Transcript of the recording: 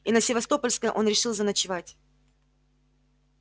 и на севастопольской он решил заночевать